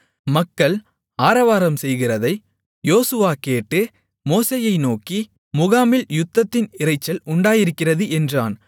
மக்கள் ஆரவாரம் செய்கிறதை யோசுவா கேட்டு மோசேயை நோக்கி முகாமில் யுத்தத்தின் இரைச்சல் உண்டாயிருக்கிறது என்றான்